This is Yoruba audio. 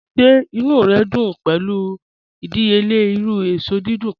Ṣẹ̀ ìnú rẹ dún pẹ̀lu ìdíyèlẹ̀ irú èṣọ dídùn kan?